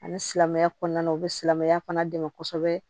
Ani silamɛya kɔnɔna u bɛ silamɛya fana dɛmɛ kosɛbɛ